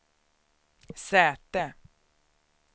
säte